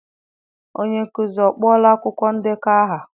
Onye nkuzi ọ kpọọla akwụkwọ ndekọ aha?